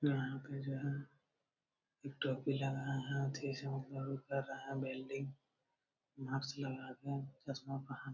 यहाँ पे जो है एक टोपी लगाए हैं कर रहे हैं वेल्डिंग माक्स लगा कर चश्मा पहन --